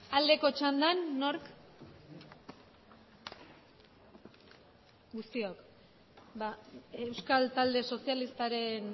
aldeko txandan nork guztiok euskal talde sozialistaren